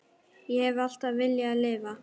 Ég hef alltaf viljað lifa.